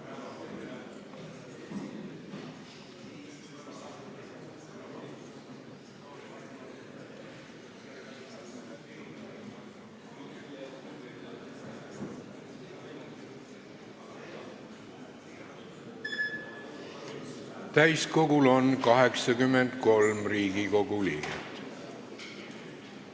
Kohaloleku kontroll Täiskogul on 83 Riigikogu liiget.